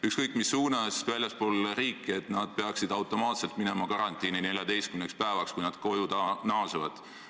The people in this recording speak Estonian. ... ükskõik mis suunas väljapoole riiki, peavad automaatselt minema karantiini 14 päevaks, kui nad koju naasevad.